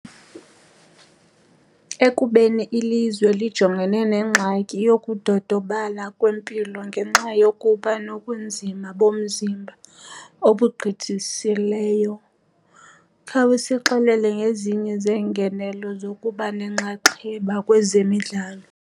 Ekubeni ilizwe lijongene nengxaki yokudodobala kwempilo ngenxa yokuba nobunzima bomzimba obugqithisileyo khawusixelele ngezinye zeengenelo zokuba nenxaxheba kwezemidlalo.